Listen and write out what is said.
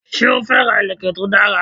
Sé o fẹ́ ra ìlèkè to dara?